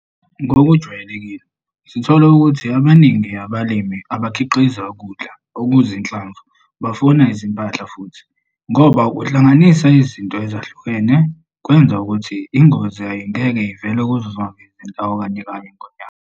Ngokwejwayelekile sithola ukuthi abaningi abalimi abakhiqiza ukudla okuzinhlamvu bafuya izimpahla futhi, ngoba ukuhlanganisa izinto ezahlukene kwenza ukuthi ingozi ayingeke ivele kuzo zonke izindawo kanyekanye ngonyaka.